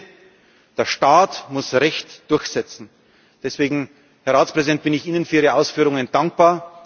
Und das Dritte Der Staat muss Recht durchsetzen. Deswegen, Herr Ratspräsident, bin ich Ihnen für Ihre Ausführungen dankbar.